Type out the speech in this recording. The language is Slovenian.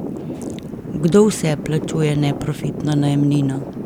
Kdo vse plačuje neprofitno najemnino?